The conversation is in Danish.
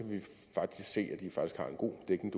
se at de faktisk har en god dækning